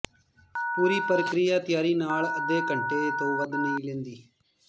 ਪੂਰੀ ਪ੍ਰਕਿਰਿਆ ਤਿਆਰੀ ਨਾਲ ਅੱਧੇ ਘੰਟੇ ਤੋਂ ਵੱਧ ਨਹੀਂ ਲੈਂਦੀ